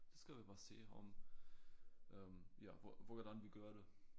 Så skal vi bare se om øh ja hvor hvordan vi gør det